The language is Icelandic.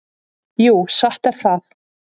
Jú, satt er það.